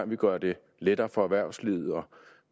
vi gør det lettere for erhvervslivet og